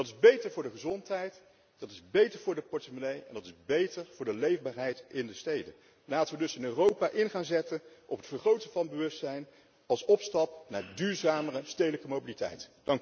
Dat is beter voor de gezondheid, dat is beter voor de portemonnee en dat is beter voor de leefbaarheid in de steden. Laten we dus in Europa gaan inzetten op het vergroten van het bewustzijn als opstap naar duurzamere stedelijke mobiliteit.